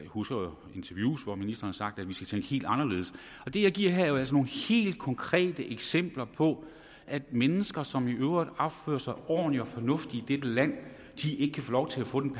husker interviews hvor ministeren har sagt at vi skal tænke helt anderledes det jeg giver her er jo altså nogle helt konkrete eksempler på at mennesker som i øvrigt opfører sig ordentligt og fornuftigt i dette land ikke kan få lov til at få den